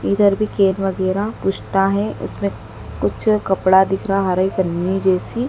इधर भी गेरुवा गेरा कुश्ता हैं उसमें कुछ कपड़ा दिख रहा है हरे पन्नी जैसी--